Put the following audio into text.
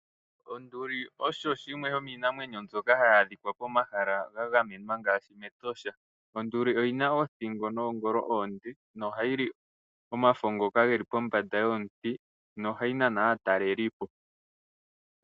Onduli osho shimwe sho miinamwenyo mbyoka hayi adhika pomahala ga gamenwa ngaashi mEtosha, onduli oyi na othingo noongolo oonde, no ha yi li omafo ngoka geli pombanda yomuti no ha yi nana aatalelipo.